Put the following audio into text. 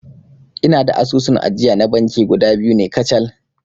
Ina da asusun ajiya na banki guda biyu ne kacal